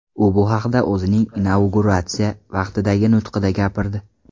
U bu haqda o‘zining inauguratsiyasi vaqtidagi nutqida gapirdi .